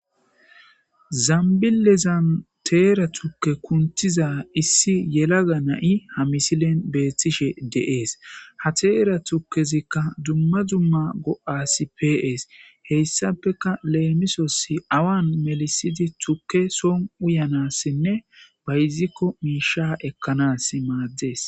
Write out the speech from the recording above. zambile zan teera tukke kuntiza issi yelaga na7i ha misilen beethtishe deees ha teera tukezikka dumma dumma go7asi pees heyssapeka leemisosi awan melisidi tukke soon uyanassinne bayzikko miisha ekkanas maaddees